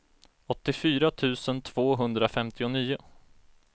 åttiofyra tusen tvåhundrafemtionio